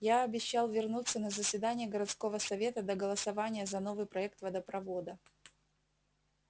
я обещал вернуться на заседание городского совета до голосования за новый проект водопровода